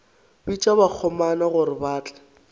bitša bakgomana gore ba tle